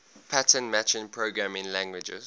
pattern matching programming languages